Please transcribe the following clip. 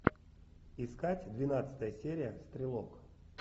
искать двенадцатая серия стрелок